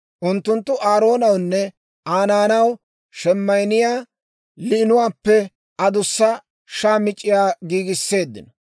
Unttunttu Aaroonawunne Aa naanaw sheemayinniyaa liinuwaappe adussa shaamic'c'iyaa giigisseeddino.